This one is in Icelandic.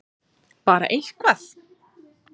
Bara eitthvað!!!